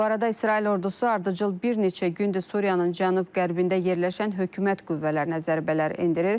Bu arada İsrail ordusu ardıcıl bir neçə gündür Suriyanın cənub-qərbində yerləşən hökumət qüvvələrinə zərbələr endirir.